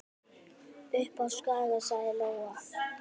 Upp á Skaga, sagði Lóa.